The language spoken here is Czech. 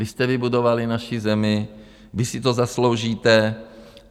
Vy jste vybudovali naši zemi, vy si to zasloužíte.